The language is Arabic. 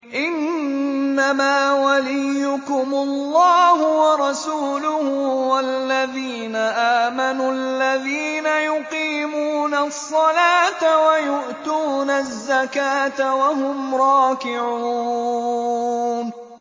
إِنَّمَا وَلِيُّكُمُ اللَّهُ وَرَسُولُهُ وَالَّذِينَ آمَنُوا الَّذِينَ يُقِيمُونَ الصَّلَاةَ وَيُؤْتُونَ الزَّكَاةَ وَهُمْ رَاكِعُونَ